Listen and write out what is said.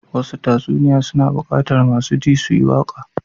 Wasu tatsuniya suna bukatar masu ji su yi waka.